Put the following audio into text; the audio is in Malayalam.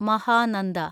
മഹാനന്ദ